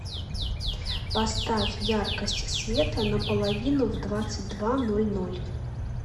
поставь яркость света на половину в двадцать два ноль ноль